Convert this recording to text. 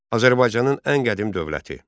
Azərbaycanın ən qədim dövləti.